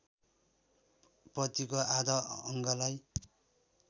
पतिको आधा अङ्गलाई